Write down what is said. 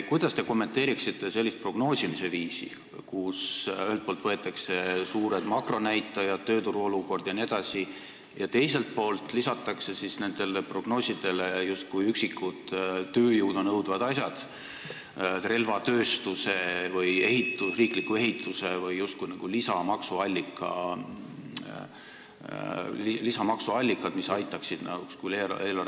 Kuidas te kommenteerite sellist prognoosimise viisi, kus ühelt poolt võetakse suured makronäitajad, tööturu olukord jne, aga teiselt poolt lisatakse nendele prognoosidele üksikud tööjõudu nõudvad asjad, nagu relvatööstuse või riikliku ehituse lisamaksuallikad, mis justkui aitaksid eelarvet parandada?